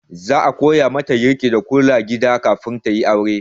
Za a koya mata girki da kula da gida kafin ta yi aure.